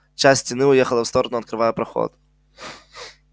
часть стены уехала в сторону открывая проход